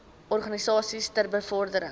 organisasies ter bevordering